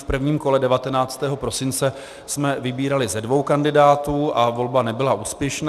V prvním kole 19. prosince jsme vybírali ze dvou kandidátů a volba nebyla úspěšná.